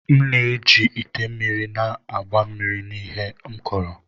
M na-eji ite mmiri na-agba mmiri na ihe m kuru.